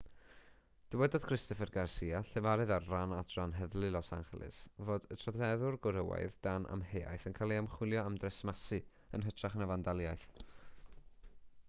dywedodd christopher garcia llefarydd ar ran adran heddlu los angeles fod y troseddwr gwrywaidd dan amheuaeth yn cael ei ymchwilio am dresmasu yn hytrach na fandaliaeth